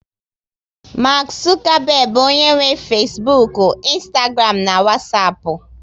Mark Zuckerberg bụ onye nwe Fesbuk, ịnstagram na Wasapu